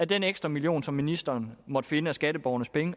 den ekstra million som ministeren måtte finde af skatteborgernes penge